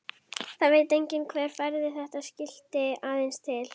Það veit enginn hver færði þetta skilti aðeins til.